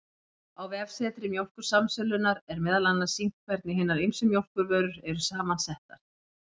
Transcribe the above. Á vefsetri Mjólkursamsölunnar, er meðal annars sýnt hvernig hinar ýmsu mjólkurvörur eru saman settar.